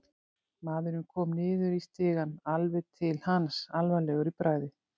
Maðurinn kom niður í stigann, alveg til hans, alvarlegur í bragði.